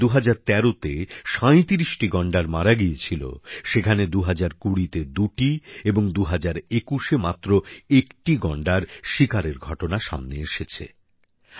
যেখানে ২০১৩ তে ৩৭ টি গন্ডার মারা গিয়েছিল সেখানে ২০২০তে দুটি এবং ২০২১এ মাত্র একটি গন্ডার শিকারের ঘটনা সামনে এসেছে